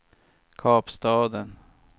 Kapstaden